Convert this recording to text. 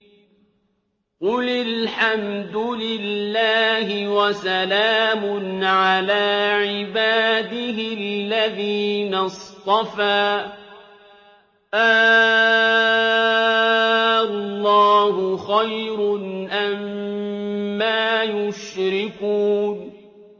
قُلِ الْحَمْدُ لِلَّهِ وَسَلَامٌ عَلَىٰ عِبَادِهِ الَّذِينَ اصْطَفَىٰ ۗ آللَّهُ خَيْرٌ أَمَّا يُشْرِكُونَ